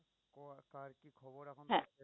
হ্যাঁ